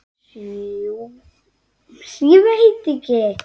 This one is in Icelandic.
Smjúga þangað og kvikna.